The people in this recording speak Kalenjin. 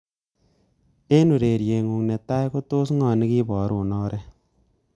Eng ureriet ngu netai ko tos ngo nekiborun oret?